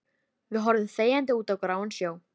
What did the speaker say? Við horfum þegjandi út á gráan sjó.